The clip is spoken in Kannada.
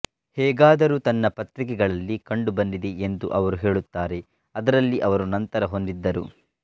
ಹೇಗಾದರೂ ತನ್ನ ಪತ್ರಿಕೆಗಳಲ್ಲಿ ಕಂಡುಬಂದಿದೆ ಎಂದು ಅವರು ಹೇಳುತ್ತಾರೆ ಅದರಲ್ಲಿ ಅವರು ನಂತರ ಹೊಂದಿದ್ದರು